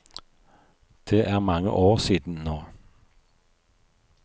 Det er mange år siden nå.